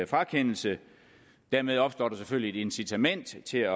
frakendelse dermed opstår der selvfølgelig et incitament til at